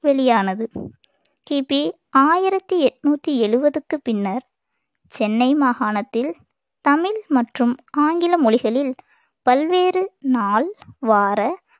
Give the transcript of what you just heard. வெளியானது கிபி ஆயிரத்தி எண்ணூத்தி எழுபதுக்கு பின்னர் சென்னை மாகாணத்தில் தமிழ் மற்றும் ஆங்கில மொழிகளில் பல்வேறு நாள் வார